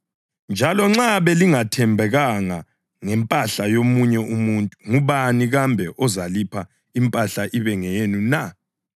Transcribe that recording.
Njalo nxa belingathembekanga ngempahla yomunye umuntu, ngubani kambe ozalipha impahla ibe ngeyenu na?